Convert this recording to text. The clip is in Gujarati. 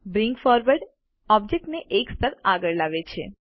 બ્રિંગ ફોરવર્ડ ઑબ્જેક્ટને એક સ્તર આગળ લાવે છે